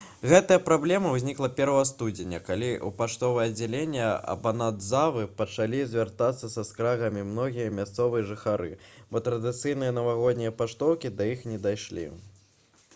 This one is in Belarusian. гэтая праблема ўзнікла 1 студзеня калі ў паштовае аддзяленне абанадзавы пачалі звяртацца са скаргамі многія мясцовыя жыхары бо традыцыйныя навагоднія паштоўкі да іх не дайшлі